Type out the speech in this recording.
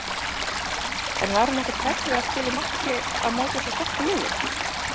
En var hún ekkert hrædd við að spila í marki á móti svo sterku liði?